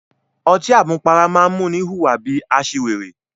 Ọtí àmupara máa ń múni hùwà bí i aṣiwèrè.